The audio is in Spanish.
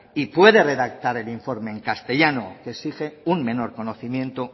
y puede redactar el informe en castellano que exige un menor conocimiento